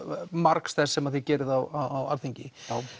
margs þess sem þið gerið á Alþingi